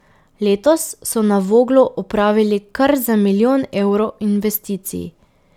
Letos so na Voglu opravili kar za milijon evrov investicij.